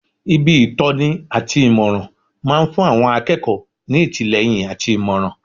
Ibi ìtọ́ni àti ìmọ̀ràn máa ń fún àwọn akẹ́kọ̀ọ́ ní ìtìlẹ́yìn àti ìmọ̀ràn